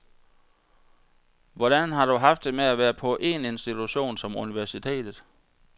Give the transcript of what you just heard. Hvordan har du haft det med at være på en institution som universitetet?